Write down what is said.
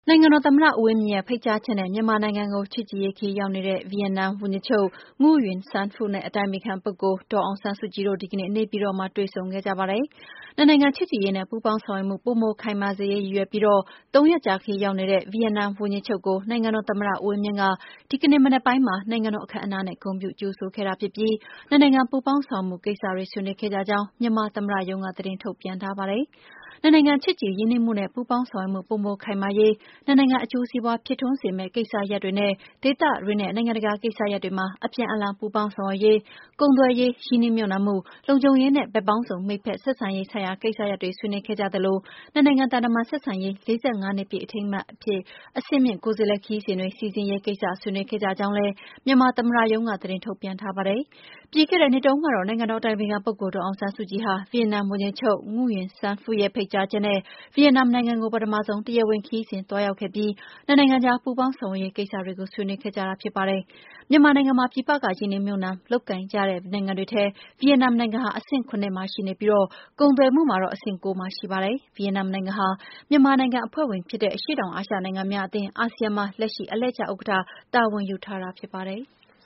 နိုင်ငံတော်သမ္မတ ဦးဝင်းမြင့်ရဲ့ ဖိတ်ကြားချက်နဲ့ မြန်မာနိုင်ငံကို ချစ်ကြည်ရေးခရီး ရောက်ရှိနေတဲ့ ဗီယက်နမ် ဝန်ကြီးချုပ် Nguyen Xuan Phuc နဲ့ အတိုင်ပင်ခံပုဂ္ဂိုလ် ဒေါ်အောင်ဆန်းစုကြည်တို့ ဒီကနေ့ နေပြည်တော်မှာ တွေ့ဆုံခဲ့ကြပါတယ်။ နှစ်နိုင်ငံ ချစ်ကြည်ရေးနဲ့ ပူးပေါင်းဆောင်ရွက်မှု ပိုမိုခိုင်မာစေရေး ရည်ရွယ်ပြီး သုံးရက်ကြာခရီး ရောက်ရှိနေတဲ့ ဗီယက်နမ်ဝန်ကြီးချုပ်ကို နိုင်ငံတော် သမ္မတ ဦးဝင်းမြင့်က ဒီကနေ့မနက်ပိုင်းမှာ နိုင်ငံတော်အခမ်းအနားနဲ့ ဂုဏ်ပြုကြိုဆိုခဲ့တာဖြစ်ပြီး၊ နှစ်နိုင်ငံ ပူးပေါင်းဆောင်ရွက်မှုကိစ္စတွေ ဆွေးနွေးခဲ့ ကြကြောင်း မြန်မာသမ္မတရုံးက သတင်းထုတ်ပြန်ထားပါတယ်။ နှစ်နိုင်ငံချစ်ကြည်ရင်းနှီးမှုနဲ့ ပူးပေါင်းဆောင်ရွက်မှု ပိုမိုခိုင်မာရေး၊ နှစ်နိုင်ငံ အကျိုးစီးပွား ဖြစ်ထွန်းစေမယ့် ကိစ္စရပ်တွေနဲ့ ဒေသတွင်းနဲ့ နိုင်ငံတကာကိစ္စရပ်တွေမှာ အပြန်အလှန် ပူးပေါင်းဆောင်ရွက်ရေး၊ ကုန်သွယ်ရေး၊ ရင်းနှီးမြှုပ်နှံမှု၊ လုံခြုံရေးနဲ့ ဘက်ပေါင်းစုံ မိတ်ဖက်ဆက်ဆံရေး ဆိုင်ရာကိစ္စတွေ ဆွေးနွေးခဲ့ကြသလို၊ နှစ်နိုင်ငံ သံတမန် ဆက်ဆံရေး နှစ်ပြည့် အထိမ်းအမှတ် အဆင့်မြင့် ကိုယ်စားလှယ်ခရီးစဉ်တွေ စီစဉ်ရေးကိစ္စတွေ ဆွေးနွေးခဲ့ကြကြောင်းလည်း မြန်မာ သမ္မတရုံးက သတင်းထုတ်ပြန်ထားပါတယ်။ ပြီးခဲ့တဲ့နှစ်တုန်းကတော့ နိုင်ငံတော်အတိုင်ပင်ခံပုဂ္ဂိုလ် ဒေါ်အောင်ဆန်းစုကြည်ဟာ ဗီယက်နမ်ဝန်ကြီးချုပ် Nguyen Xuan Phuc ရဲ့ ဖိတ်ကြားချက်နဲ့ ဗီယက်နမ်နိုင်ငံကို ပထမဆုံး တရားဝင်ခရီးစဉ် သွားရောက်ခဲ့ပြီး နှစ်နိုင်ငံကြား ပူးပေါင်းဆောင်ရွက်ရေး ကိစ္စတွေကို ဆွေးနွေးခဲ့ကြတာဖြစ်ပါတယ်။ မြန်မာနိုင်ငံမှာ ပြည်ပက ရင်းနှီးမြှုပ်နှံ လုပ်ကိုင်ကြတဲ့ နိုင်ငံတွေထဲ ဗီယက်နမ်နိုင်ငံဟာ အဆင့် ၇ မှာရှိနေပြီး၊ ကုန်သွယ်မှုမှာတော့ အဆင့် ၉ နေရာမှာရှိပါတယ်။ ဗီယက်နမ်နိုင်ငံဟာ မြန်မာနိုင်ငံ အဖွဲ့ဝင်ဖြစ်တဲ့ အရှေ့တောင်အာရှနိုင်ငံများအသင်း အာဆီယံမှာ လက်ရှိ အလှည့်ကျဥက္ကဋ္ဌ တာဝန်ယူထားတာဖြစ်ပါတယ်။